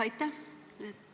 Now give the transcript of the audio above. Aitäh!